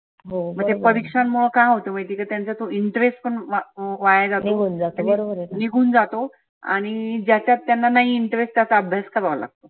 म्हणजे परिक्षांमुळे काय होतं त्यांचा तो interest पण वा वाया जातो निघुन जातो. आणि ज्याच्यात त्यांना नाही interest त्यात अभ्यास करावा लागतो.